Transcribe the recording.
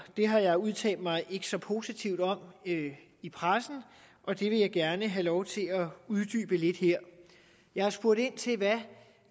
det har jeg udtalt mig ikke så positivt om i pressen og det vil jeg gerne have lov til at uddybe lidt her jeg har spurgt ind til hvad